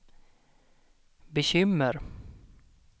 bekymmer